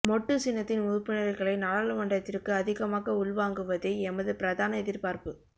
மொட்டு சின்னத்தின் உறுப்பினர்களை நாடாளுமன்றத்திற்கு அதிகமாக உள்வாங்குவதே எமது பிரதான எதிர்பார்ப்பு